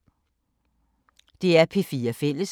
DR P4 Fælles